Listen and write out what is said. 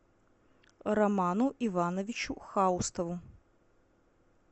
роману ивановичу хаустову